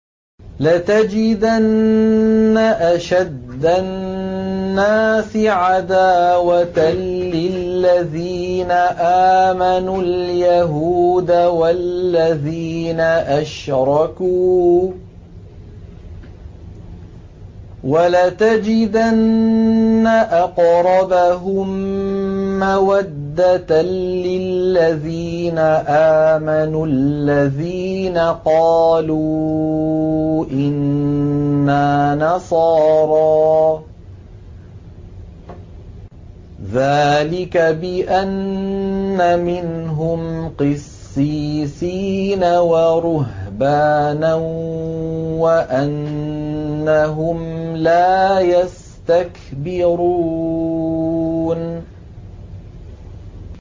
۞ لَتَجِدَنَّ أَشَدَّ النَّاسِ عَدَاوَةً لِّلَّذِينَ آمَنُوا الْيَهُودَ وَالَّذِينَ أَشْرَكُوا ۖ وَلَتَجِدَنَّ أَقْرَبَهُم مَّوَدَّةً لِّلَّذِينَ آمَنُوا الَّذِينَ قَالُوا إِنَّا نَصَارَىٰ ۚ ذَٰلِكَ بِأَنَّ مِنْهُمْ قِسِّيسِينَ وَرُهْبَانًا وَأَنَّهُمْ لَا يَسْتَكْبِرُونَ